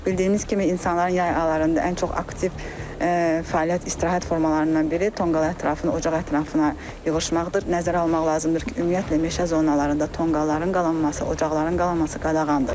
Bildiyimiz kimi insanların yay aylarında ən çox aktiv fəaliyyət, istirahət formalarından biri tonqal ətrafına, ocaq ətrafına yığışmaqdır, nəzərə almaq lazımdır ki, ümumiyyətlə meşə zonalarında tonqalların qalanması, ocaqların qalanması qadağandır.